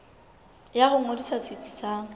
ya ho ngodisa setsi sa